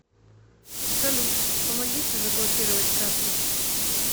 салют помогите заблокировать карту